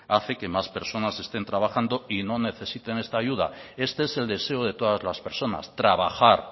hace que más personas estén trabajando y no necesiten esta ayuda este es el deseo de todas las personas trabajar